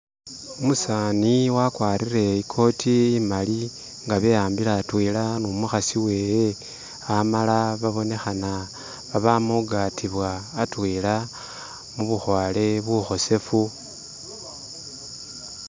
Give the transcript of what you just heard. Umusaani wakwarire i cort imali nga beyambile atwela ni umukhasi wewe amala babonekhana babama khu gatibwa atwela mu bukhwale bukhosefu